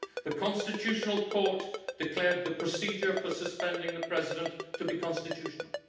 The constitutional court declared the procedure for suspending the President to be constitutional.